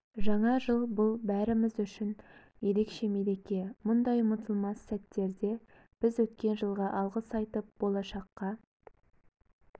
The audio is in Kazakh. жаңа жыл бұл бәріміз үшін ерекше мереке мұндай ұмытылмас сәттерде біз өткен жылға алғыс айтып болашаққа